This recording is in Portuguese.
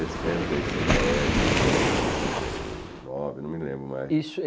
Em sessenta e sete, sessenta e nove, não me lembro mais. Isso